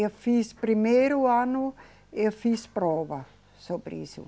Eu fiz primeiro ano, eu fiz prova sobre isso.